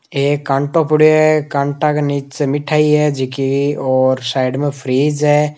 एक काँटों पड़ियाे है कांटा के नीचे मिठाई है जकि और साइड में फ्रीज़ है।